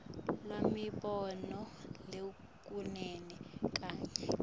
lwemibono lehlukene kanye